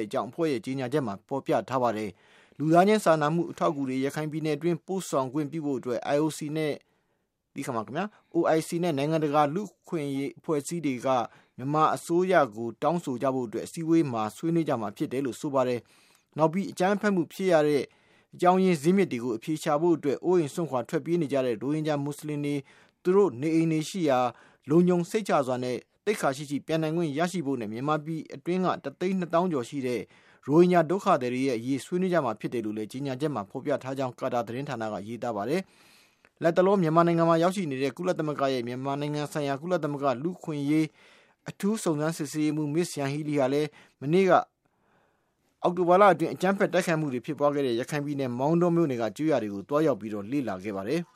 စ်ကြောင်း အဖွဲ့ရဲ့ ကြေညာချက်မှာ ဖေါ်ပြထားပါတယ်။ လူသားချင်းစာနာမှုအထောက်အကူ တွေကို ရခိုင်ပြည်နယ်အတွင်း ပို့ဆောင်ခွင့်ပြုဖို့အတွက် OIC နဲ့ နိုင်ငံတကာလူ့အဖွဲ့အစည်းတွေက မြန်မာအစိုးရကို တောင်းဆိုကြဖို့အတွက် ဒီအစည်းအဝေးမှာ ဆွေးနွေးကြမှာ ဖြစ်တယ်လို့ ဆိုပါတယ်။ နောက်ပြီး အကြမ်းဖက်မှု ဖြစ်ပွားရတဲ့ အကြောင်းအရင်း ဇစ်မြစ်ကို အဖြေရှာဖို့၊ အိုးအိမ်စွန့်ခွာ ထွက်ပြေးနေကြရတဲ့ ရိုဟင်ဂျာ မွတ်ဆလင်တွေ သူတို့ရဲ့နေအိမ်တွေရှိရာကို လုံခြုံစိတ်ချစွာနဲ့ သိက္ခာရှိရှိ ပြန်နိုင်ခွင့်ရရှိဖို့နဲ့ မြန်မာပြည်တွင်းက ၁ သိန်း ၂ သောင်းကျော်ရှိတဲ့ ရိုဟင်ဂျာ ဒုက္ခသည်တွေရဲ့ အရေးကို ဆွေးနွေးကြမှာ ဖြစ်တယ်လို့ ကြေညာချက်မှာ ဖေါ်ပြထားကြောင်း ကာတာ သတင်းဌာနက ရေးသားထားပါတယ်။ လတ်တလော မြန်မာနိုင်ငံမှာ ရောက်ရှိနေတဲ့ ကုလသမဂ္ဂရဲ့ မြန်မာနိုင်ငံဆိုင်ရာ ကုလသမဂ္ဂ လူ့အခွင့်အရေး အထူးစုံစမ်းစစ်ဆေးရေးမှူး Ms Yanghee Lee ဟာ မနေ့က အောက်တိုဘာလအတွင်း အကြမ်းဖက် တိုက်ခိုက်မှုတွေ ဖြစ်ပွားခဲ့တဲ့ ရခိုင်ပြည်နယ် မောင်တောမြို့နယ် အတွင်းက ကျေးရွာတွေကို သွားရောက်လေ့လာခဲ့ပါတယ်။